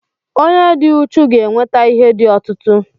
onye dị uchu ga-enweta ihe di ọtụtụ